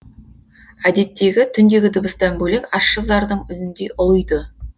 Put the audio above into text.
әдеттегі түндегі дыбыстан бөлек ащы зардың үніндей ұлиды